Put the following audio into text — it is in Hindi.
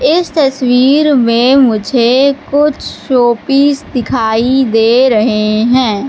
इस तस्वीर में मुझे कुछ शोपीस दिखाई दे रहे हैं।